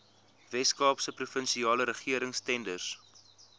weskaapse provinsiale regeringstenders